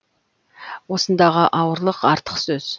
осындағы ауырлық артық сөз